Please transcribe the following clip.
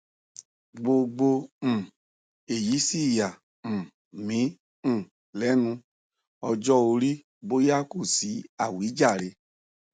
gbogbo um èyí sì yà um mí um lẹnu ọjọ orí bóyá kò sí àwíjàre